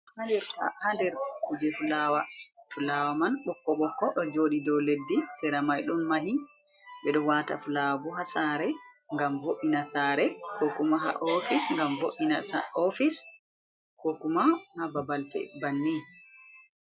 Haa nder kuje fulaawa fulaawa man, ɓokko ɓokko o jooɗi dow leddi. Sera may ɗon mahi ɓe ɗo waata fulaawa bo haa sare ngam vo'ina saare, ko kuma haa ofis ngam vo’ina ofis, ko kuma haa babal feere banni.